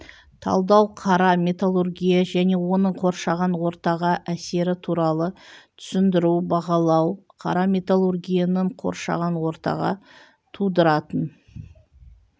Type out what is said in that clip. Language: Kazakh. талдау қара металлургия және оның қоршаған ортаға әсері туралы түсіндіру бағалау қара металлургияның қоршаған ортаға тудыратын